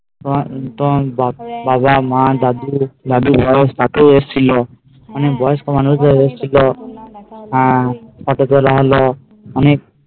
তোমার তোমার বাবা মা দাদুও এসেছিলো হ্যাঁ অনেক বয়স্ক মানুষ জন এসেছিলো হ্যাঁ এতো জন অন্য অনেক